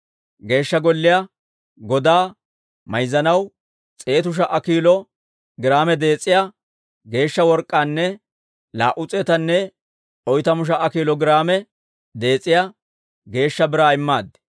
Geeshsha Golliyaa godaa mayzzanaw s'eetu sha"a kiilo giraame dees'iyaa geeshsha work'k'aanne laa"u s'eetanne oytamu sha"a kiilo giraame dees'iyaa geeshsha biraa immaad.